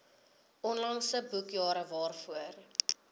onlangse boekjare waarvoor